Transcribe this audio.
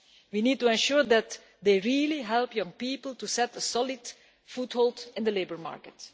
We need to ensure that they really help young people to get a solid foothold in the labour market.